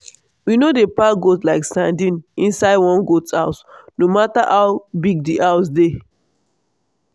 we no dey pack goat like sardine inside one goat house no matter how big di house dey.